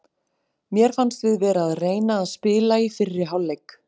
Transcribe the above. Mér fannst við vera að reyna að spila í fyrri hálfleik.